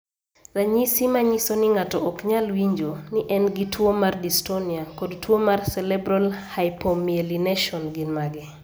Ranyisi manyiso ni ng'ato ok nyal winjo, ni en gi tuwo mar dystonia, kod tuo mar cerebral hypomyelination gin mage?